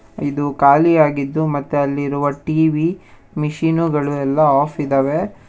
ಇದು ಖಾಲಿಯಾಗಿದ್ದು ಮತ್ತೆ ಅಲ್ಲಿರುವ ಟಿ_ವಿ ಮಿಷಿನುಗಳು ಎಲ್ಲ ಆಫ್ ಇದ್ದಾವೆ.